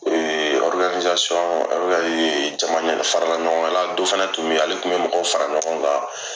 Ee jama farala ɲɔgɔn kan la, dɔn fɛnɛ kun be yen ale kun be mɔgɔw fara ɲɔgɔn kan